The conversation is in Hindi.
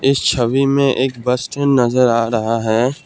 इस छवि में एक बस स्टैंड नजर आ रहा है।